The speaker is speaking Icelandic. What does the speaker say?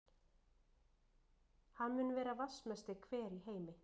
Hann mun vera vatnsmesti hver í heimi.